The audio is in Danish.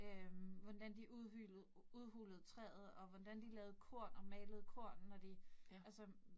Øh hvordan de udhulede træet, og hvordan de lavede korn og malede korn, når de altså